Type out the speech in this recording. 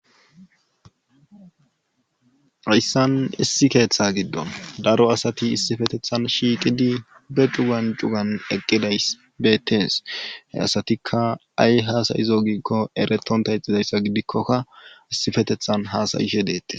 hayssan issi keeththa giddon daro asati issifetethan shiiqidi be cugan cugan eqqiday beettees he asatikka ay haasayizo giikko eretonta ixidayssa gidikkokka issifetethan haasayishe deettes